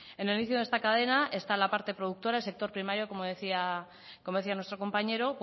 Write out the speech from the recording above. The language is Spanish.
en el inicio de esta cadena está la parte productora el sector primario como decía nuestro compañero